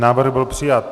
Návrh byl přijat.